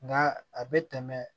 Nka a bɛ tɛmɛ